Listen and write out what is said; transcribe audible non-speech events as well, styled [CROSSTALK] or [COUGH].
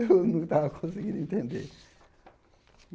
[LAUGHS] Eu não estava conseguindo entender.